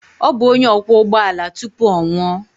Ọ bụ onye ọkwọ ụgbọ ala tupu ọ nwụọ.